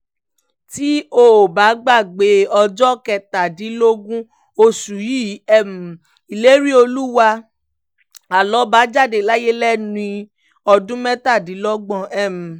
tẹ́ ò bá gbàgbé ọjọ́ kẹtàdínlógún oṣù yìí ni um ìléríolúwà alọ́ba jáde láyé lẹ́ni ọdún mẹ́tàdínlọ́gbọ̀n um